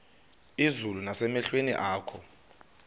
izulu nasemehlweni akho